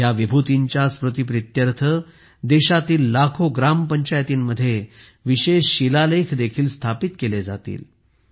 ह्या विभूतींच्या स्मृतिप्रीत्यर्थ देशातील लाखो ग्रामपंचायतींमध्ये विशेष शिलालेख देखील स्थापित केले जातील